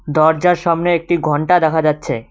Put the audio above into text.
দরজার সামনে একটি ঘন্টা দেখা যাচ্ছে।